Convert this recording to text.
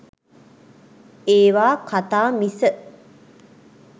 ඒවා කතා මිස